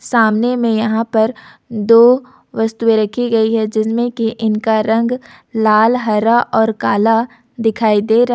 सामने में यहां पर दो वस्तुएं रखी गई है जिसमें कि इनका रंग लाल हरा और कल दिखाई दे रहा--